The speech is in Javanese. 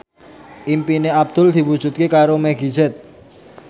impine Abdul diwujudke karo Meggie Z